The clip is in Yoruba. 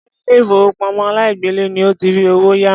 Ṣé ilé ìfowópamọ́ aláìgbèlé ni o ti rí owó yá?